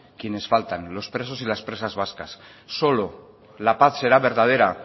quienes faltan los presos y las presas vascas solo la paz será verdadera